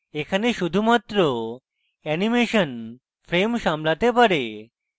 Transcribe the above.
এখানে শুধুমাত্র animation frames সামলাতে পারে